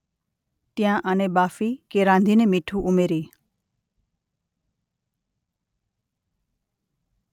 ત્યાં આને બાફી કે રાંધીને મીઠું ઉમેરી